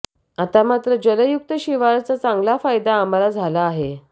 आता मात्र जलयुक्त शिवारचा चांगला फायदा आम्हाला झाला आहे